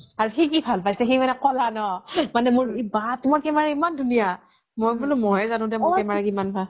আৰু সি কি ভাল পাইছে সি মানে ক্'লা ন বা তুমাৰ camera ইমান ধুনিয়া মই বোলো মই হে যানো দে মোৰ camera কিমান ভাল